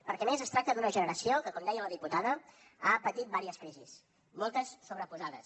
perquè a més es tracta d’una generació que com deia la diputada ha patit diverses crisis moltes sobreposades